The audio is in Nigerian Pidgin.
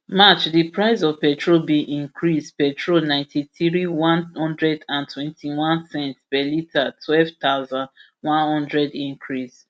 march di price of petrol bin increase petrol ninety-three ulp lrp one hundred and twentyone cents per litre twelve thousand, one hundred cl increase